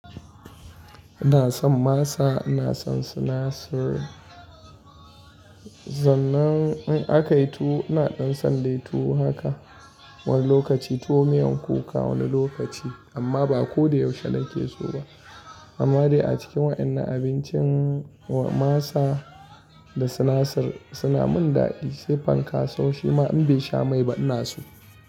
Ina son masa, ina son sinasir. Sannan in aka yi tuwo ina son dai tuwo haka wani lokaci tuwo miyan kuka wani lokaci amma ba ko da yaushe nake so ba. Amma dai a cikin wa'annan abincin masa da sinasir suna min daɗi sai fanka sau shima in bai sha mai ba ina so.